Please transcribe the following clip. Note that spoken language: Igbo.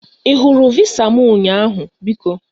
I hụrụ visa m ụnyaahụ biko?